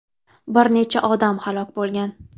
Bir necha odam halok bo‘lgan.